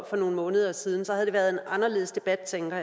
for nogle måneder siden så havde der været en anderledes debat tænker